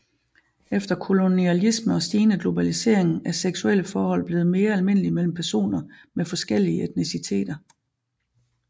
Efter kolonialisme og stigende globalisering er seksuelle forhold blevet mere almindelige mellem personer med forskellige etniciteter